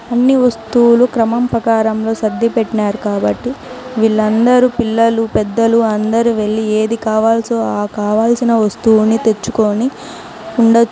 అన్ని వస్తువులు క్రమం ప్రకారంలో సర్ది పెట్టినారు కాబట్టి వీళ్ళందరూ పిల్లలు పెద్దలు అందరూ వెళ్లి ఏది కావాల్సో ఆ కావాల్సిన వస్తువుని తెచ్చుకొని ఉండచ్చు.